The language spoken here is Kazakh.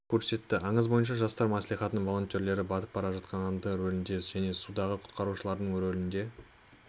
көрсетті аңыз бойынша жастар маслихатының волонтерлері батып бара жатққан адамдардың рөлінде және судағы құтқарушылардың рөлінде